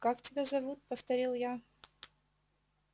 как тебя зовут повторил я